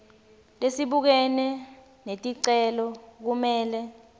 lesibukene neticelo kumele